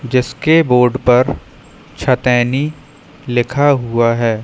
जिसके बोर्ड पर छतेनी लिखा हुआ है।